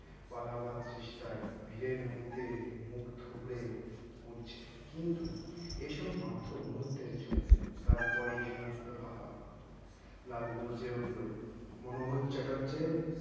পালাবার চেষ্টাই ভিড়ের মধ্যে মুখ থুবড়ে পড়ছে কিন্তু এসব মাত্র মুহূর্তের জন্য তারপরই সমস্ত ফাঁকা লালু গর্জে উঠল মনোহর চ্যাটার্জ